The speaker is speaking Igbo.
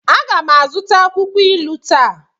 A ga m azụta akwukwo ilu taa.